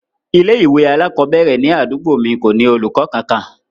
Ilé ìwé alakobere ni àdúgbò mi ko ni olùkọ kankan.